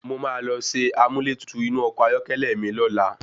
Mo máa lọ ṣe amúlẹ́tutù inú ọkọ̀ ayọ́kẹ́lẹ́ mi lọ́la.